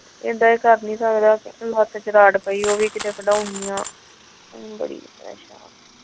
ਏਦਾਂ ਏ ਕਰ ਨਹੀਂ ਸਕਦਾ ਹੱਥ ਚ ਕੀਤੇ ਰੋਡ ਪਈ ਏ ਉਹੀ ਵੀ ਕਿਤੇ ਕਢਾਣੀ ਏ।